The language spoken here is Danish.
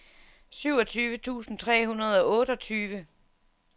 syvogtyve tusind tre hundrede og otteogtyve